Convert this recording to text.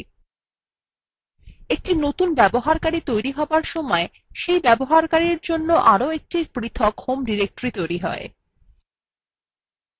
একটি নতুন user তৈরি হবার সময় সেই ব্যবহারকারীর জন্য আরও একটি পৃথক হোম directory তৈরী has